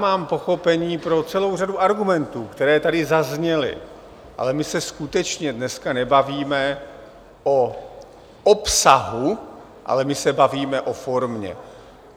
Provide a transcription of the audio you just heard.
Mám pochopení pro celou řadu argumentů, které tady zazněly, ale my se skutečně dneska nebavíme o obsahu, ale my se bavíme o formě.